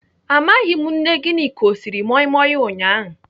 Amaghị m nne Gịnịka ọ siri moi moi ụnyaahụ.